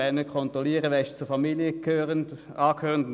Wir wollen nicht kontrollieren, wer der Familie angehört und wer nicht.